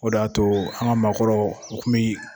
O de y'a to an ka maakɔrɔw u tun ye